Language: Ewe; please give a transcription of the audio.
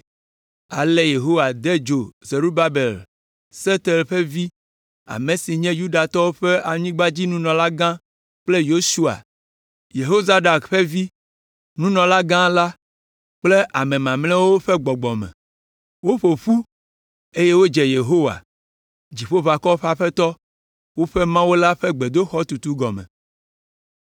Ale Yehowa de dzo Zerubabel, Sealtiel ƒe vi, ame si nye Yudatɔwo ƒe anyigbadziɖulagã kple Yosua, Yehozadak ƒe vi, nunɔlagã la kple ame mamlɛawo ƒe gbɔgbɔ me. Woƒo ƒu eye wodze Yehowa, Dziƒoʋakɔwo ƒe Aƒetɔ, woƒe Mawu la ƒe gbedoxɔ tutu gɔme